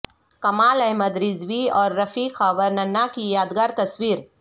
کمال احمد رضوی اور رفیع خاور ننھا کی یادگار تصویر